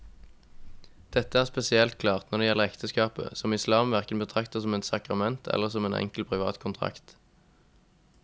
Dette er spesielt klart når det gjelder ekteskapet, som islam hverken betrakter som et sakrament eller som en enkel privat kontrakt.